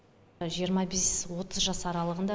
жиырма бес отыз жас аралығында